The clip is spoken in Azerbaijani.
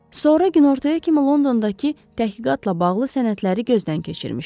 Sonra günortaya kimi Londondakı təhqiqatla bağlı sənədləri gözdən keçirmişdi.